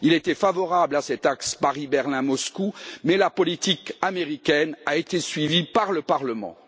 il était favorable à cet axe Paris Berlin Moscou, mais la politique américaine a été suivie par le Parlement.